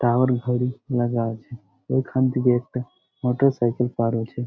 Tower ঘড়ি লাগা আছে এখন থেকে একটা মোটরসাইকেল পার হয়েছে।